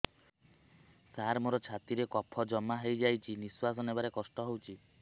ସାର ମୋର ଛାତି ରେ କଫ ଜମା ହେଇଯାଇଛି ନିଶ୍ୱାସ ନେବାରେ କଷ୍ଟ ହଉଛି